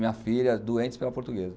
Minha filha, doentes pela portuguesa.